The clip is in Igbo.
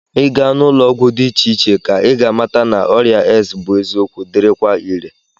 Ị gaa n'ụlọọgwụ dị iche iche ka ị ga-amata na ọrịa AIDS bụ eziokwu dịrịkwa ire